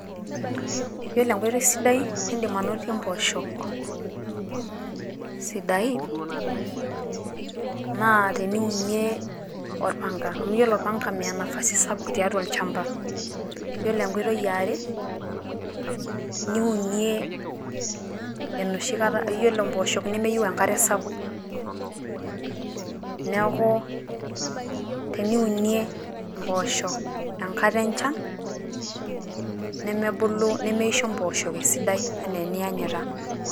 Yiolo enkoitoi sidai nidiim anotie mpoosho sidain naa teniunie olpanga, amu yiolo olpanga naa meya nafasi sapuk tiatua olchamba. Ore enkoitoi iare niunie enoshikata yiolo mpoosho nemeyieu enkare sapuk. neeku teniunie mpoosho enkata enchan nemebulu nemeisho mpoosho esidai enaa enianyita.